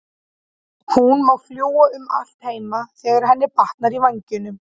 Hún má fljúga um allt heima þegar henni batnar í vængnum.